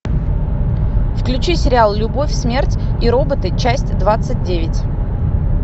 включи сериал любовь смерть и роботы часть двадцать девять